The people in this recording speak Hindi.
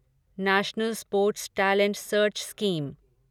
national sports talent search scheme